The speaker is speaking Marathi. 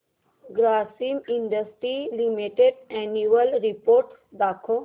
Grasim industries limited annual report दाखव